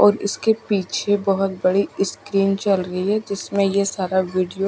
और इसके पीछे बहुत बड़ी स्क्रीन चल रही है जिसमें ये सारा वीडियो --